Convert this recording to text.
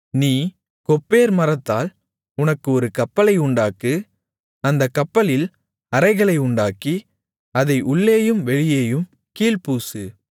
நீ கொப்பேர் மரத்தால் உனக்கு ஒரு கப்பலை உண்டாக்கு அந்தக் கப்பலில் அறைகளை உண்டாக்கி அதை உள்ளேயும் வெளியேயும் கீல் பூசு